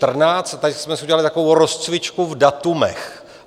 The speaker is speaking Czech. Tady jsme si udělali takovou rozcvičku v datech.